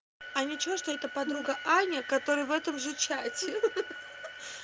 а ничего что это подруга аня которая в этом же чате ха-ха